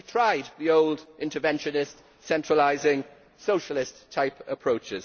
We have tried the old interventionist, centralising, socialist type approach.